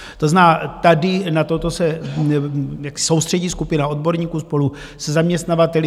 To znamená, tady na toto se soustředí skupina odborníků spolu se zaměstnavateli.